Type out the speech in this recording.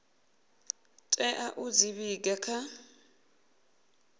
tea u dzi vhiga kha